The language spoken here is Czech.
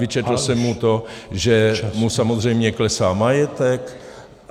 Vyčetl jsem mu to , že mu samozřejmě klesá majetek.